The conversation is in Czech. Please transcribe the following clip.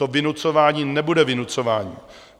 To vynucování nebude vynucování.